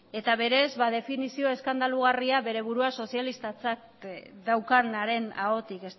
eta berez ba definizio eskandalugarria bere burua sozialistatzat daukanaren ahotik